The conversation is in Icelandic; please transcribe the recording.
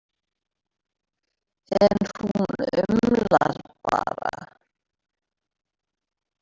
En hún umlar bara.